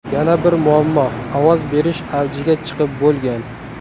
Yana bir muammo ovoz berish avjiga chiqib bo‘lgan.